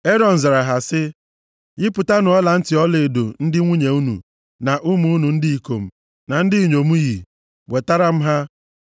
Erọn zara sị ha, “Yipụtanụ ọlantị ọlaedo ndị nwunye unu, na ụmụ unu ndị ikom na ndị inyom yi. Wetara m ha.”